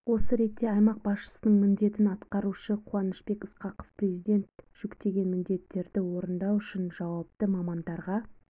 осы ретте аймақ басшысының міндетін атқарушы қуанышбек ысқақов президент жүктеген міндеттерді орындау үшін жауапты мамандарға